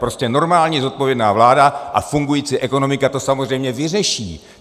Prostě normální zodpovědná vláda a fungující ekonomika to samozřejmě vyřeší.